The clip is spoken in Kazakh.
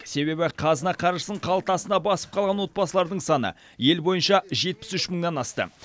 себебі қазына қаржысын қалтасына басып қалған отбасылардың саны ел бойынша жетпіс үш мыңнан асты